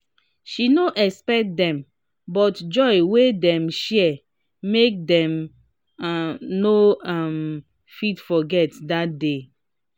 she no expect dem but joy wey dem share make dem no um fit forget dat day. um